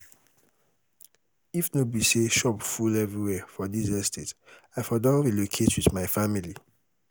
if no be say shop full everywhere for dis estate i for don relocate with my family